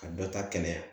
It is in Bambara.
Ka dɔ ta kɛnɛya